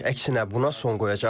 Əksinə buna son qoyacaq.